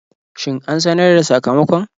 Shin an sanar da sakamakon?